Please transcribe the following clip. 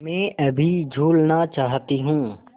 मैं अभी झूलना चाहती हूँ